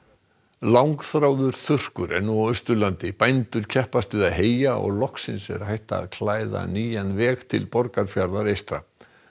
langþráður þurrkur er nú á Austurlandi bændur keppast við að heyja og loksins er hægt að klæða nýjan veg til Borgarfjarðar eystra